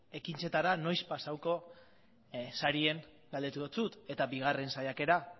ekintzetara noiz pasatuko zaren galdetu dizut eta bigarren saiakera